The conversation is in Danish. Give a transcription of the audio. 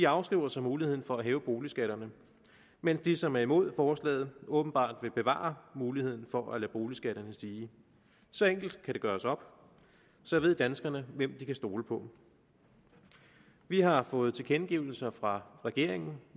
afskriver sig muligheden for at hæve boligskatterne mens de som er imod forslaget åbenbart vil bevare muligheden for at lade boligskatterne stige så enkelt kan det gøres op så ved danskerne hvem de kan stole på vi har fået tilkendegivelser fra regeringen